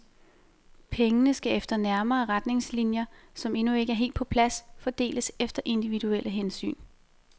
Pengene skal efter nærmere retningslinjer, som endnu ikke er helt på plads, fordeles efter individuelle hensyn.